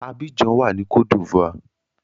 Abidjan wà ní cote d'Ivoire.